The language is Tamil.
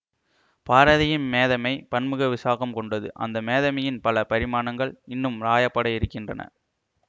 பாரதியின் மேதமை பன்முக விசாகம் கொண்டது அந்த மேதமையின் பல பரிமாணங்கள் இன்னும் ராயப்படயிருக்கின்றன